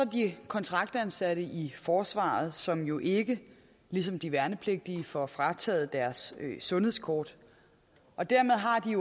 de kontraktansatte i forsvaret som jo ikke ligesom de værnepligtige får frataget deres sundhedskort og dermed har de